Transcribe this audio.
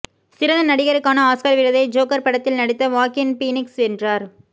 சிறந்த நடிகருக்கான ஆஸ்கார் விருதை ஜோக்கர் படத்தில் நடித்த வாக்கின் பீனிக்ஸ் வென்றார்